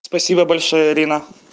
спасибо большое ирина